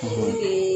O de ye